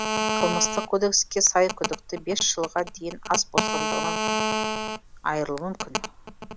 қылмыстық кодекске сай күдікті бес жылға дейін ас бостандығынан айырылуы мүмкін